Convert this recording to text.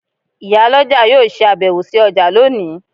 Iyaloja yóò se abewo si oja loni